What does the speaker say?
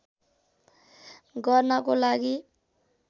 गर्नको लागि